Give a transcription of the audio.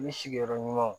U ni sigiyɔrɔ ɲumanw